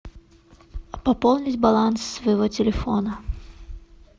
пополнить баланс своего телефона